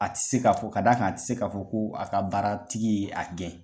A ti se k'a fɔ d'a kan a ti se k'a fɔ ko a ka baaratigi ye a gɛn.